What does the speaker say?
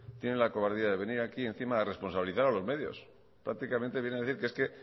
tiene la cobardía de venir aquí encima a responsabilizar a los medios prácticamente viene a decir que es que